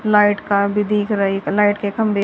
light का भी दिख रही एक लाइट के खंभे--